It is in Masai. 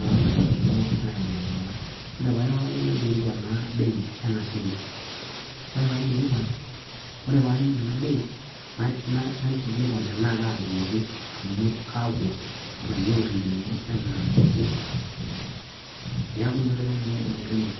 amu inakata kiitum aielewanata. ore pee airoroki naikilikwan naa bei ena shimbi, ore pee aikilikwa, ore pee aning enabei naikilikwan tenaa kadungoki. amu kaaku alainyangani lenye anaa ake, neaku inaoitoi nanu adim aitumia.